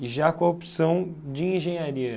E já com a opção de engenharia.